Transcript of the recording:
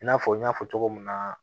I n'a fɔ n y'a fɔ cogo min na